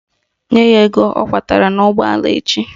Nye ya ego ọ kwọtara n'ụgbọala echi!